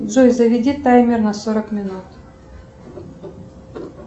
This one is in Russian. джой заведи таймер на сорок минут